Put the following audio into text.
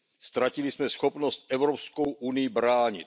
Ztratili jsme schopnost Evropskou unii bránit.